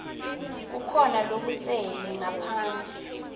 kukhona lokusele ngaphandle